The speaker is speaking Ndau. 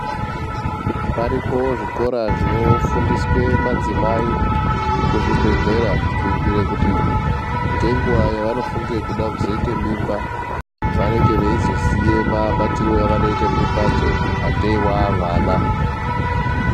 Paripo zvikora zvino fundiswe madzimai ku zvibhedhlera kuiitire kuti nge nguva yavano funge kuda kuzoita mimba vanenge veizo ziya mabatiriro awano ite mimbadzo atee avana.